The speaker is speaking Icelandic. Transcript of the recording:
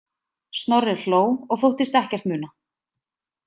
Snorri hló og þóttist ekkert muna.